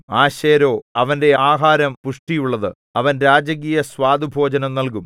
ആശേരോ അവന്റെ ആഹാരം പുഷ്ടിയുള്ളത് അവൻ രാജകീയസ്വാദുഭോജനം നല്കും